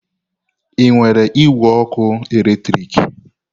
Ị nwere igwe ọkụ eletrik?